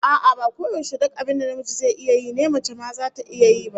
A'a, ba koyaushe duk abin da namiji zai yi ne mace ma zata iya yi ba